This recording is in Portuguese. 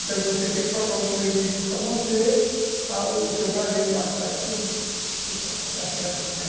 Então você tem que procurar outro meio de vida para manter a, o seu prazer mais tarde por ali, se você acha que é bom.